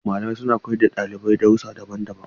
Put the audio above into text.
Malamai suna koyar da dalibai darussa daban-daban.